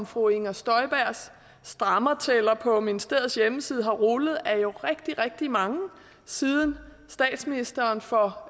fru inger støjbergs stramningstæller på ministeriets hjemmeside har rullet er jo rigtig rigtig mange siden statsministeren for